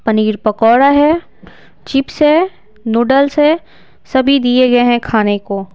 पनीर पकौड़ा है चिप्स है नूडल्स है सभी दिए गए हैं खाने को।